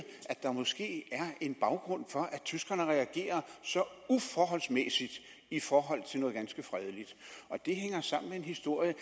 at der måske er en baggrund for at tyskerne reagerer så uforholdsmæssigt i forhold til noget ganske fredeligt og det hænger sammen med en historie